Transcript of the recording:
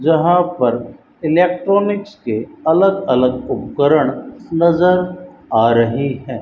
जहां पर इलेक्ट्रॉनिक्स के अलग अलग उपकरण नजर आ रहे हैं।